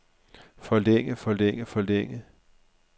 forlænge forlænge forlænge